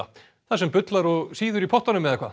þar sem bullar og sýður í pottunum eða hvað